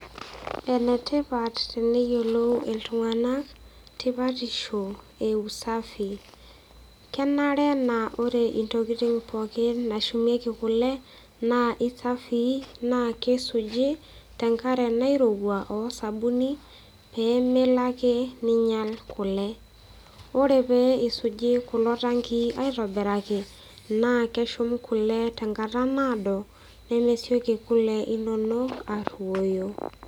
Enetipat teneyiolou iltunganak tipatisho eusafi kenare naa ore ntokitin pookin nashumieki kule naa isafii naa kisuji tenkare nairowua osabuni peemelo ake ninyial kule . Ore pee isuji kulo tankii aitobiraki naa keshum kule tenkata naado nemesioki kule inonok aruoyo.